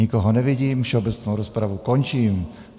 Nikoho nevidím, všeobecnou rozpravu končím.